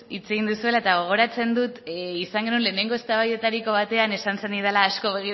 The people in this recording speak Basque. hitz egin duzuela eta gogoratzen dut izan genuen lehenengo eztabaidatariko batean esan zenidala asko